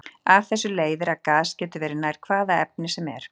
Af þessu leiðir að gas getur verið nær hvaða efni sem er.